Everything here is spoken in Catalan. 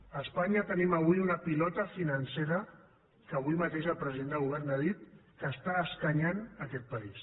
a espanya tenim avui una pilota financera que avui mateix el president del govern ha dit que està escanyant aquest país